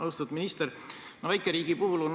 Austatud minister!